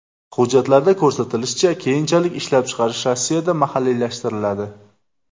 Hujjatlarda ko‘rsatilishicha, keyinchalik ishlab chiqarish Rossiyada mahalliylashtiriladi.